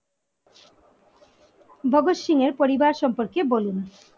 ভগৎ সিং এর পরিবার সম্পর্কে বলুন